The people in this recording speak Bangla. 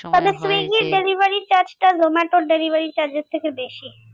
delivery charge টা জোমাটোর delivery charge এর থেকে বেশি।